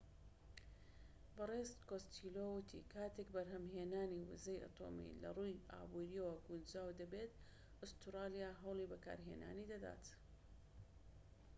بەڕێز کۆستێلۆ وتی کاتێك بەرهەمهێنانی وزەی ئەتۆمی لە ڕووی ئابوریەوە گونجاو دەبێت ئوستورالیا هەوڵی بەکارهێنانی دەدات